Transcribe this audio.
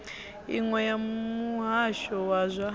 iṅwe ya muhasho wa zwa